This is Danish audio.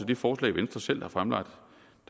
det forslag venstre selv har fremlagt